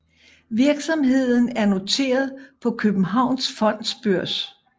Virksomheden er noteret på Københavns Fondsbørs